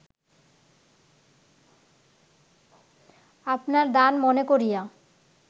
আপনার দান মনে করিয়া